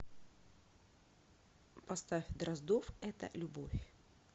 поставь дроздов это любовь